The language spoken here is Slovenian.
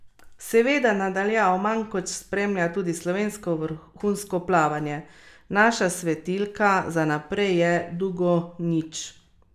Seveda na daljavo Mankoč spremlja tudi slovensko vrhunsko plavanje: "Naša svetilka za naprej je Dugonjić.